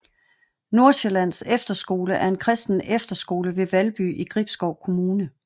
Nordsjællands Efterskole er en kristen efterskole ved Valby i Gribskov Kommune